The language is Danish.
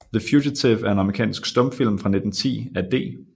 The Fugitive er en amerikansk stumfilm fra 1910 af D